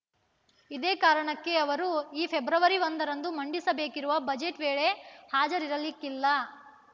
ಇದೇ ಕಾರಣಕ್ಕೆ ಅವರು ಈ ಫೆಬ್ರವರಿ ಒಂದರಂದು ಮಂಡಿಸಬೇಕಿರುವ ಬಜೆಟ್‌ ವೇಳೆ ಹಾಜರಿರಲಿಕ್ಕಿಲ್ಲ